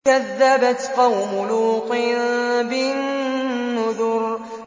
كَذَّبَتْ قَوْمُ لُوطٍ بِالنُّذُرِ